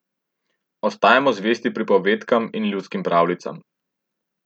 Ostajamo zvesti pripovedkam in ljudskim pravljicam.